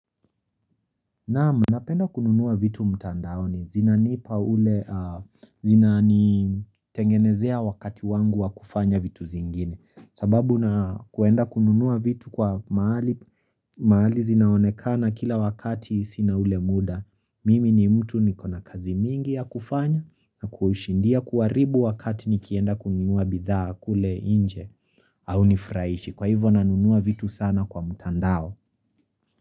Naam, napenda kununua vitu mtandaoni zinanipa ule, zinanitengenezea wakati wangu wa kufanya vitu zingine sababu na kuenda kununua vitu kwa mahali mahali zinaonekana kila wakati sina ule muda. Mimi ni mtu nikona kazi mingi ya kufanya na kuushindia kuharibu wakati nikienda kununua bidhaa kule nje hau nifurahishi Kwa hivyo nanunua vitu sana kwa mtandao.